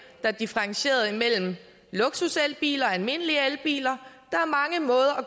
der differentierede imellem luksuselbiler og almindelige elbiler